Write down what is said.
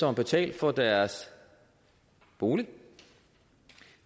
har betalt for deres bolig